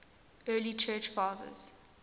early church fathers